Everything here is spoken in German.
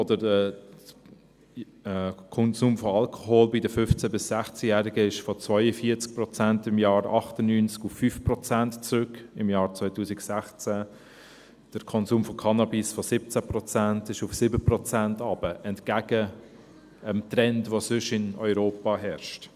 Der Konsum von Alkohol bei den 15- bis 16-Jährigen ging von 42 Prozent im Jahr 1998 auf 5 Prozent im Jahr 2016 zurück, der Konsum von Cannabis ging von 17 Prozent auf 7 Prozent zurück, entgegen dem Trend, der sonst in Europa herrscht.